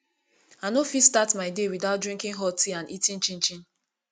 i no fit start my day without drinking hot tea and eating chinchin